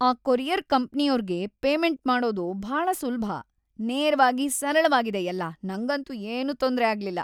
ಆ ಕೊರಿಯರ್‌ ಕಂಪ್ನಿಯೋರ್ಗೆ ಪೇಮೆಂಟ್ ಮಾಡೋದು ಭಾಳ ಸುಲ್ಭ. ನೇರವಾಗಿ, ಸರಳವಾಗಿದೆ ಎಲ್ಲ, ನಂಗಂತೂ ಏನೂ ತೊಂದ್ರೆ ಆಗ್ಲಿಲ್ಲ.